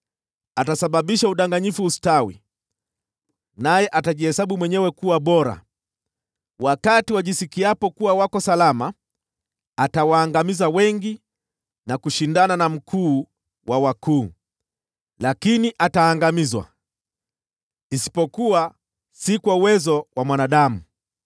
Atasababisha udanganyifu ustawi, naye atajihesabu mwenyewe kuwa bora. Wakati wajisikiapo kuwa wako salama, atawaangamiza wengi, na kushindana na Mkuu wa wakuu. Lakini ataangamizwa, isipokuwa si kwa uwezo wa mwanadamu.